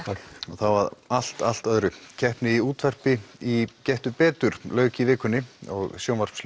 þá að allt allt öðru keppni í útvarpi í Gettu betur lauk í vikunni og